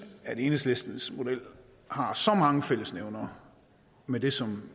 at enhedslistens model har så mange fællesnævnere med det som